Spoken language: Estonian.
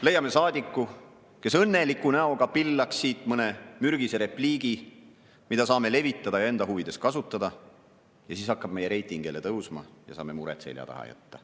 Leiame saadiku, kes õnneliku näoga pillaks siit mõne mürgise repliigi, mida me saame levitada ja enda huvides kasutada, ja siis hakkab meie reiting jälle tõusma ja saame mured seljataha jätta.